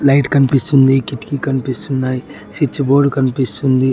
Light కన్పిస్తుంది. కిటికీ కనిపిస్తున్నాయ్ స్విచ్ బోర్డు కన్పిస్తుంది.